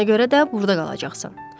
Ona görə də burda qalacaqsan.